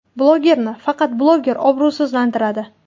Blogerni faqat bloger obro‘sizlantiradi.